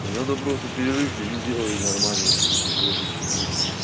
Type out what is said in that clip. да надо просто перерывчик сделать нормальный потому что я почти блять